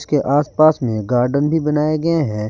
के आस पास में गार्डेन भी बनाए गए हैं।